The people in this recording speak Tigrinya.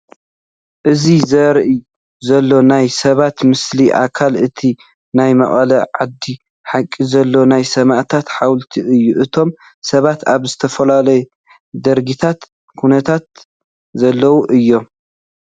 እዚ ዝርአ ዘሎ ናይ ሰባት ምስሊ ኣካል እቲ ናይ መቐለ ዓዲ ሓቂ ዘሎ ናይ ሰማዕታት ሓወልቲ እዩ፡፡ እቶም ሰባት ኣብ ዝተፈላለየ ድርጊትን ኩነትን ዘለዉ እዮም፡፡